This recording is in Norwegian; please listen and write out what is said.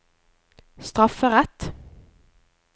strafferett